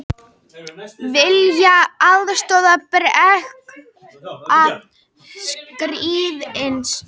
Vilja aðstoð breska ríkisins